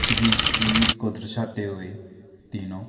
किसी चीज को दर्शाते हुए तीनों--